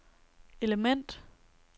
element